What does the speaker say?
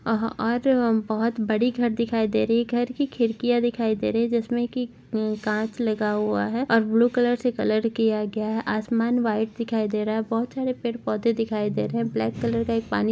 आह और बहुत बड़ी घर दिखाई दे रही हैं घर की खिड़कियां दिखाई दे रही है जिसमे की कांच लगा हुआ है और ब्लू कलर से कलर किया गया है आसमान व्हाइट दिखाई दे रहा है बहुत सारे पेड़ पौधे दिखाई दे रहे हैं ब्लैक -कलर का एक पानी--